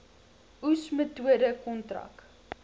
oes metode kontrak